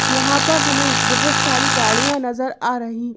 यहाँ पर हमें बहुत सारी गाड़ियां नजर आ रही--